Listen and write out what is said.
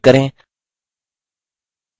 play button पर click करें